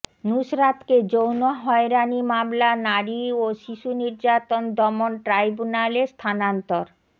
নুসরাতকে যৌন হয়রানি মামলা নারী ও শিশু নির্যাতন দমন ট্রাইব্যুনালে স্থানান্তর